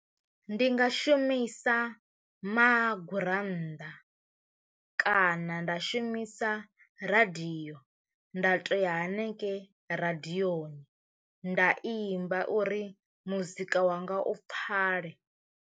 Ndi nga shumisa magurannḓa kana nda shumisa radio nda to ya hanengei radiyoni nda imba uri muzika wanga u pfale.